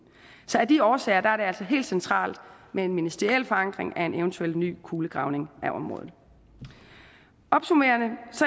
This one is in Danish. så af de årsager er det altså helt centralt med en ministeriel forankring af en eventuel ny kulegravning af området opsummerende